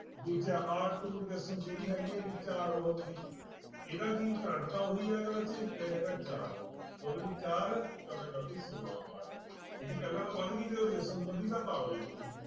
ਦੂਜਾ ਆਹ two resistance ਜਿਹੜੀ ਹੈਗੀ ਇਹਦੀ ਚਾਰ ਦੀ ਇਹਦਾ ਕੀ ਕਰੰਟ ਤਾਂ ਉਹੀ ਹੈਗਾ ਬੱਚੇ ਇਹ ਹੈਗਾ ਚਾਰ, ਦੋ ਦੂਣੀ ਚਾਰ, ਚੋਕਮ ਚੋਕੀ ਛੋਲਾਂ ਵਾਟ ਇਹਦੀ ਪਹਿਲਾਂ ਨਾਲੋਂ ਵੱਧ ਗਈ ਜਦੋਂ resistance ਵਧੀ ਤਾਂ power ਵੀ ਵਧੀ।